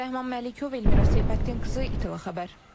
Rəhman Məlikov, Elmira Seyfəddin qızı, İTV Xəbər.